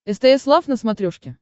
стс лав на смотрешке